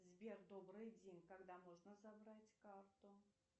сбер добрый день когда можно забрать карту